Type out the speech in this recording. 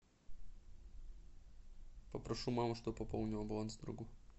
попрошу маму чтобы пополнила баланс другу